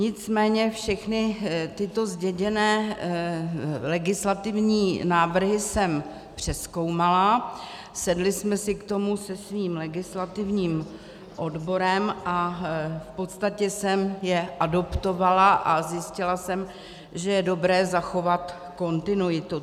Nicméně všechny tyto zděděné legislativní návrhy jsem přezkoumala, sedli jsme si k tomu se svým legislativním odborem a v podstatě jsem je adoptovala a zjistila jsem, že je dobré zachovat kontinuitu.